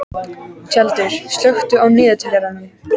Tjaldur, slökktu á niðurteljaranum.